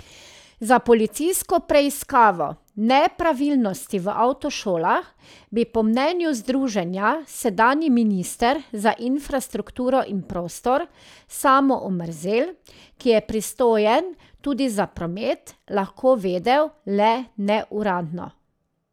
Za policijsko preiskavo nepravilnosti v avtošolah bi po mnenju združenja sedanji minister za infrastrukturo in prostor Samo Omrzel, ki je pristojen tudi za promet, lahko vedel le neuradno.